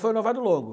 Foi um noivado longo.